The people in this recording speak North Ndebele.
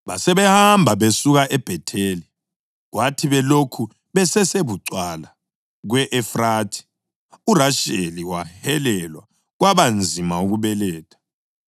Basebehamba besuka eBhetheli. Kwathi belokhu besesebucwala kwe-Efrathi, uRasheli wahelelwa kwaba nzima ukubeletha.